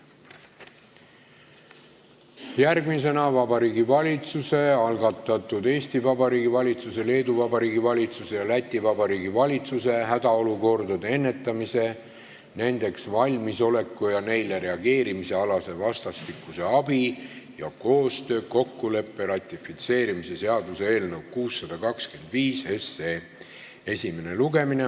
Järgmisena Vabariigi Valitsuse algatatud Eesti Vabariigi valitsuse, Leedu Vabariigi valitsuse ja Läti Vabariigi valitsuse hädaolukordade ennetamise, nendeks valmisoleku ja neile reageerimise alase vastastikuse abi ja koostöö kokkuleppe ratifitseerimise seaduse eelnõu 625 esimene lugemine.